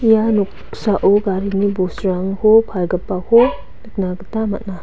ia noksao garini bosturangko palgipako nikna gita man·a.